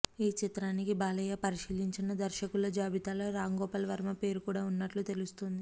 ఈ చిత్రానికి బాలయ్య పరిశీలించిన దర్శకుల జాబితాలో రాంగోపాల్ వర్మ పేరు కూడా ఉన్నట్లు తెలుస్తోంది